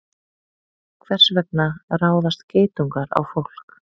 Hvers vegna ráðast geitungar á fólk?